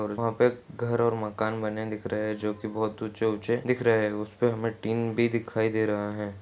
और वहाँ पे घर और मकान बने दिख रहे हैं जो की बहोत ऊँचे ऊँचे दिख रहे हैं उस पे हमें टीन भी दिखाई दे रहा है।